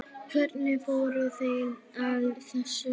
Hvernig fóru þeir að þessu?